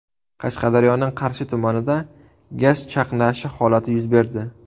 Qashqadaryoning Qarshi tumanida gaz chaqnashi holati yuz berdi.